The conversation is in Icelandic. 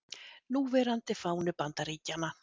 Núverandi fáni Bandaríkjanna.